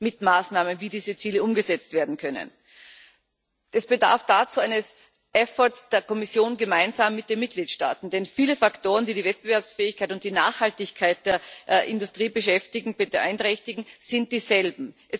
mit Maßnahmen, wie diese Ziele umgesetzt werden können, dazu festlegt. Es bedarf dazu eines efforts der Kommission gemeinsam mit den Mitgliedstaaten, denn viele Faktoren, die die Wettbewerbsfähigkeit und die Nachhaltigkeit der Industriebeschäftigten beinträchtigen, sind dieselben.